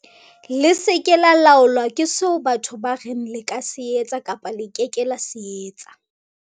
"Le se ke la laolwa ke seo batho ba reng le ka se etsa kapa le ke ke la se etsa."